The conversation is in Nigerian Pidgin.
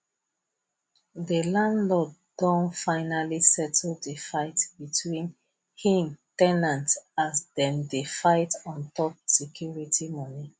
the landlord don finally settle the fight between hin ten ant as them dey fight on top security money